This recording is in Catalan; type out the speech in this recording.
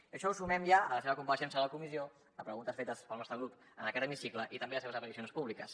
i això ho sumem ja a la seva compareixença a la comissió a preguntes fetes pel nostre grup en aquest hemicicle i també a les seves aparicions públiques